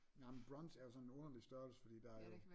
Nej men brunch er jo sådan en underlig størrelse fordi der er jo